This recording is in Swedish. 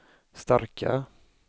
starka